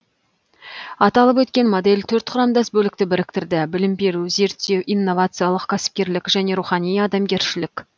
аталып өткен модель төрт құрамдас бөлікті біріктірді білім беру зерттеу инновациялық кәсіпкерлік және рухани адамгершілік